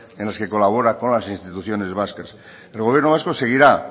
en las que colabora con las instituciones vascas el gobierno vasco seguirá